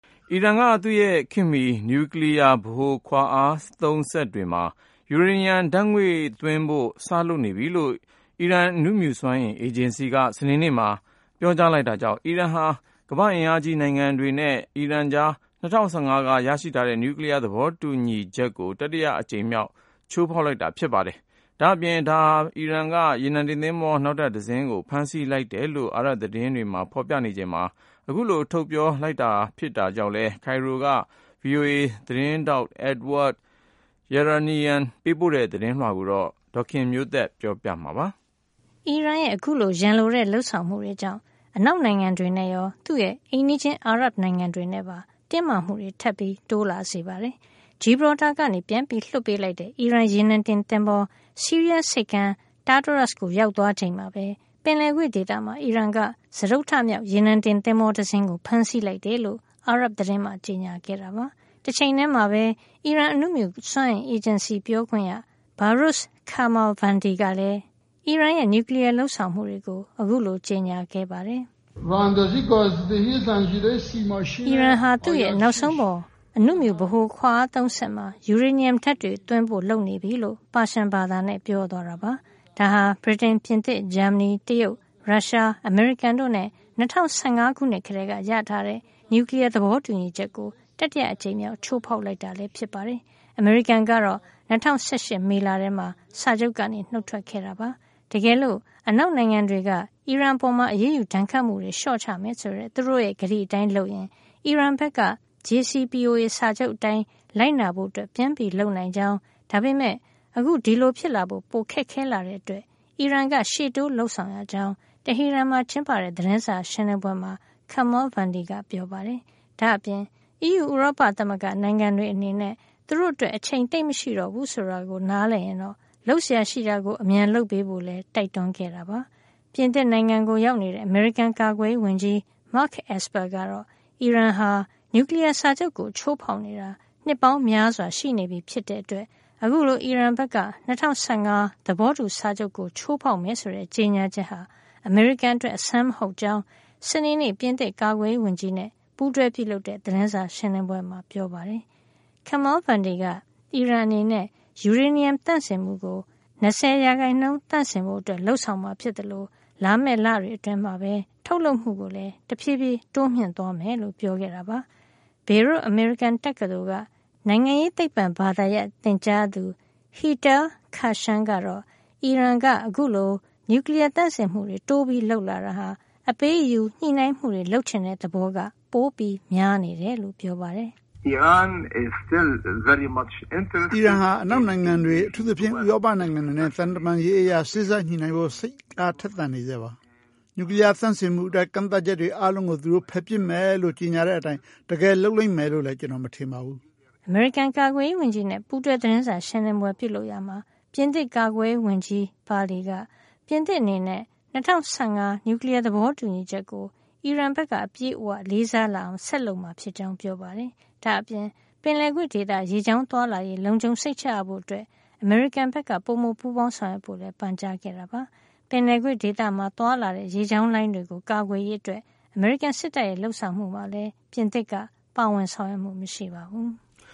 အီရန်က သူ့ရဲ့ ခေတ်မီ နျူကလီးယား ဗဟိုခွါအားသုံးစက်တွေမှာ ယူရေနီယံဓာတ်ငွေ့သွင်းဖို့ စလုပ်နေပြီလို့ အီရန် အဏုမြူစွမ်းအင် အေဂျင်စီက စနေနေ့မှာ ပြောကြားလိုက်တာကြောင့် အီရန်ဟာ ကမ္ဘာ့အင်အားကြီးနိုင်ငံတွေနဲ့ အီရန်ကြား ၂၀၁၅ က ရရှိထားတဲ့ နျူကလီးယား သဘောတူညီချက် JCPOA ကို တတိယအကြိမ်မြောက် ချိုးဖောက်လိုက်တာ ဖြစ်ပါတယ်။ ဒါ့အပြင် ဒါဟာ အီရန်က ရေနံတင်သင်္ဘော နောက်ထပ်တစင်းကို ဖမ်းဆီးလိုက်တယ်လို့ အာရပ်သတင်းတွေမှာ ဖော်ပြချိန်မှာ အခုလို ထုတ်ပြောလိုက်တာလည်း ဖြစ်ကြောင်း ကိုင်ရိုက VOA သတင်းထောက် Edward Yeranian ပေးပို့ထားတဲ့ သတင်းကို ဒေါ်ခင်မျိုးသက်က ပြောပြပေးမှာပါ။ အီရန်ရဲ့ အခုလို ရန်လိုတဲ့ လုပ်ဆောင်မှုတွေကြောင့် အနောက်နိုင်ငံတွေနဲ့ရော သူ့ရဲ့ အိမ်နီးချင်း အာရပ်နိုင်ငံတွေနဲ့ပါ တင်းမာမှုတွေ ထပ်ပြီး တိုးလာစေပါတယ်။ Gibraltar က ပြန်လွှတ်ပေးလိုက်တဲ့ အီရန်ရေနံတင်သင်္ဘော ဆီးရီးယားဆိပ်ကမ်း Tartous ကို ရောက်သွားချိန်မှာပဲ ပင်လယ်ကွေ့ဒေသမှာ အီရန်က စတုတ္ထမြောက် ရေနံတင်သင်္ဘော တစင်းကို ဖမ်းဆီးလိုက်တယ်လို့ အာရပ်သတင်းမှာ ကြေညာခဲ့တာပါ။ တချိန်တည်းမှာပဲ အီရန် အဏုမြူစွမ်းအင် အေဂျင်စီ ပြောခွင့်ရ Behrouz Kamalvandi ကလည်း အီရန်ရဲ့ နျူကလီးယား လုပ်ဆောင်မှုတွေကို အခုလို ကြေညာခဲ့ပါတယ်။ “အီရန်ဟာ သူ့ရဲ့ နောက်ဆုံးပေါ် အဏုမြူဗဟိုခွါအားသုံးစက်မှာ ယူရေနီယံဓာတ်ငွေ့တွေ သွင်းဖို့ လုပ်နေပြီ” လို့ ပါရှန်ဘာသာနဲ့ ပြောသွားတာပါ။ ဒါဟာ ဗြိတိန်၊ ပြင်သစ်၊ ဂျာမနီ၊ တရုတ်၊ ရုရှား၊ အမေရိကန်တို့နဲ့ ၂၀၁၅ ကတည်းက ရရှိထားတဲ့ JCPOA နျူကလီးယား သဘောတူညီချက်ကို တတိယအကြိမ်မြောက် ချိုးဖောက်လိုက်တာ ဖြစ်ပါတယ်။ အမေရိကန်ကတော့ ၂၀၁၈ မေလထဲမှာ စာချုပ်က နုတ်ထွက်ခဲ့တာပါ။ တကယ်လို့ အနောက်နိုင်ငံတွေက အီရန်အပေါ် အရေးယူဒဏ်ခတ်မှုတွေ လျှော့ချမယ်ဆိုတဲ့ သူတို့ကတိအတိုင်းလုပ်ရင် အီရန်ဘက်က JCPOA စာချုပ်အတိုင်း လိုက်နာဖို့ ပြန်လုပ်နိုင်ကြောင်း၊ ဒါပေမယ့် အခု ဒီလိုဖြစ်လာဖို့ ပိုခက်ခဲလာတာကြောင့် အီရန်က ရှေ့တိုးလုပ်ဆောင်ရကြောင်း တဟီရန်မှာ ကျင်းပတဲ့ သတင်းစာရှင်းလင်းပွဲမှာ Kamalvandi က ပြောပါတယ်။ ဒါ့အပြင် အီးယူ ဥရောပနိုင်ငံတွေအနေနဲ့ သူတို့အတွက် အချိန်သိပ်မရှိတော့ဘူးဆိုတာ နားလည်ရင်တော့ လုပ်စရာရှိတာကို အမြန်လုပ်ပေးဖို့လည်း တိုက်တွန်းခဲ့ပါတယ်။ ပြင်သစ်နိုင်ငံကိုရောက်နေတဲ့ အမေရိကန် ကာကွယ်ရေးဝန်ကြီး Mark Esper ကတော့ အီရန်ဟာ နျူကလီးယားစာချုပ်ကို ချိုးဖောက်နေတာ နှစ်ပေါင်းများစွာရှိနေပြီ ဖြစ်တဲ့အတွက် အခုလို အီရန်ဘက်က ၂၀၁၅ သဘောတူစာချုပ်ကို ချိုးဖောက်မယ်ဆိုတဲ့ ကြေညာချက်ဟာ အမေရိကန်အတွက် အဆန်းမဟုတ်ကြောင်း စနေနေ့ ပြင်သစ်ကာကွယ်ရေးဝန်ကြီးနဲ့ ပူးတွဲပြုလုပ်တဲ့ သတင်းစာရှင်းလင်းပွဲမှာ ပြောပါတယ်။ Kamalvandi က အီရန်အနေနဲ့ ယူရေနီယံသန့်စင်မှုကို ၂၀ % သန့်စင်ဖို့ လုပ်ဆောင်မှာ ဖြစ်သလို လာမယ့်လတွေအတွင်း ထုတ်လုပ်မှုကိုလည်း တဖြည်းဖြည်း တိုးမြှင့်သွားမယ်လို့ ပြောခဲ့တာပါ။ ဘေရွတ် အမေရိကန်တက္ကသိုလ်က နိုင်ငံရေးသိပ္ပံဘာသာရပ် သင်ကြားသူ Hilal Khashan ကတော့ အီရန်က အခုလို နျူကလီးယား သန့်စင်မှုတွေ တိုးလုပ်လာတာဟာ အပေးအယူ ညှိနှိုင်းမှုတွေ လုပ်ချင်တဲ့သဘောက ပိုများနေတယ်လို့ ပြောပါတယ်။ “အီရန်အနေနဲ့ အနောက်နိုင်ငံတွေ အထူးသဖြင့် ဥရောပနိုင်ငံတွေနဲ့ သံတမန်ရေးအရ စေ့စပ်ညှိနှိုင်းဖို့ စိတ်သန်နေဆဲပါ။ နျူကလီးယား သန့်စင်မှုအတွက် ကန့်သတ်ချက်တွေ အားလုံးကို သူတို့ဖယ်ပစ်မယ်လို့ ကြေညာတဲ့အတိုင်း တကယ်လုပ်မယ်လို့လည်း ကျနော် မထင်ပါဘူူး။” အမေရိကန်ကာကွယ်ရေးဝန်ကြီးနဲ့ ပူးတွဲသတင်းစာရှင်းလင်းပွဲ လုပ်ရာမှာ ပြင်သစ်ကာကွယ်ရေးဝန်ကြီး Parly က ပြင်သစ်အနေနဲ့ ၂၀၁၅ နျူကလီးယား သဘောတူညီချက်ကို အီရန်က အပြည့်အဝ လေးစားလာအောင် ဆက်လုပ်မှာ ဖြစ်ကြောင်း ပြောပါတယ်။ ဒါ့အပြင် ပင်လယ်ကွေ့ဒေသ ရေကြောင်းသွားလာရေး လုံခြုံစိတ်ချရဖို့အတွက် အမေရိကန်က ပိုမို ပူးပေါင်းဆောင်ရွက်ဖို့လည်း ပန်ကြားခဲ့ပါတယ်။ ပင်လယ်ကွေ့ဒေသမှာ သွားလာတဲ့ ရေကြောင်းလိုင်းတွေကို ကာကွယ်ရေးအတွက် အမေရိကန်စစ်တပ်ရဲ့ လုပ်ဆောင်မှုမှာလည်း ပြင်သစ်က ပါဝင်ဆောင်ရွက်မှု မရှိပါဘူး။